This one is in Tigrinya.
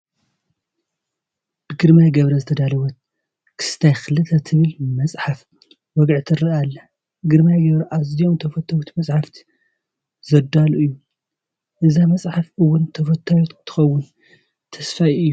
ብግርማይ ገብሩ ዝተዳለወት ክስታይ 2 ትብል መፅሓፈ ወግዒ ትርአ ኣላ፡፡ ግርማይ ገብሩ ኣዝዮም ተፈተውቲ መፃሕፍቲ ዘዳሉ እዩ፡፡ እዛ መፅሓፍ እውን ተፈታዊት ከምትኾን ተስፋይ እዩ፡፡